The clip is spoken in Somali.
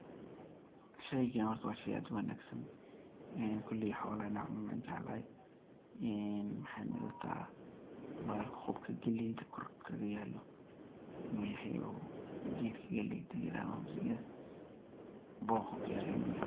Sheygaan horta waa sheey aad u wanagsan koley xolaha inaay cunaan an jeclahay maxeyna ila taha bahalka khubka galeyda korka kagayalo inu yahay oo gedka galeyda layirahdo oo masagada boqaa kuyalo inu yahay.